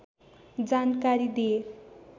जानकारी दिए